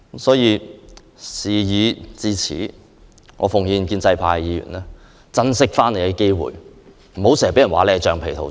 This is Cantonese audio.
事已至此，我奉勸建制派議員珍惜機會，不要老是被稱為"橡皮圖章"。